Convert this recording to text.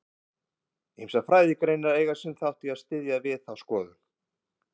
Ýmsar fræðigreinar eiga sinn þátt í að styðja við þá skoðun.